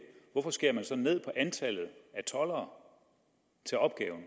hvorfor skærer man så ned på antallet af toldere til opgaven